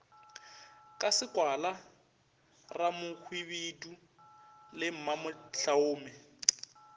ka sekwala ramohwibidu le mamohlaume